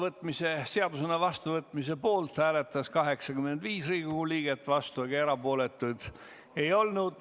Eelnõu seadusena vastuvõtmise poolt hääletas 85 Riigikogu liiget, vastuolijaid ja erapooletuid ei olnud.